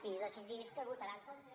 i decidís que votarà en contra